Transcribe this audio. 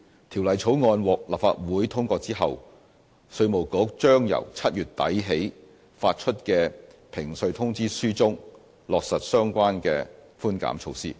《條例草案》獲立法會通過後，稅務局將由7月底起發出的評稅通知書中，落實相關寬減措施。